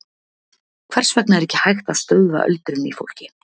Hvers vegna er ekki hægt að stöðva öldrun í fólki?